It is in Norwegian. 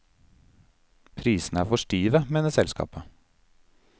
Prisene er for stive, mener selskapet.